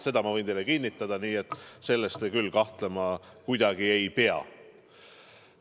Seda ma võin teile kinnitada, nii et selles küll kahtlema kuidagi ei pea.